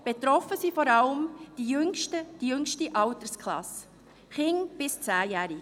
betroffen ist vor allem die jüngste Altersklasse – Kinder bis 10-jährig.